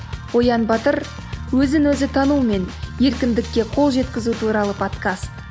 оян батыр өзін өзі танумен еркіндікке қол жеткізу туралы подкаст